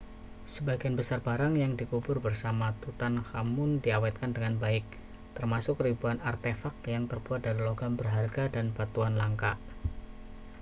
sebagian besar barang yang dikubur bersama tutankhamun diawetkan dengan baik termasuk ribuan artefak yang terbuat dari logam berharga dan batuan langka